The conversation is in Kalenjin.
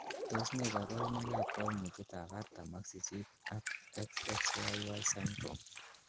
Tos nee koborunoikab koimutietab artam ak sisit ak XXYY syndrome?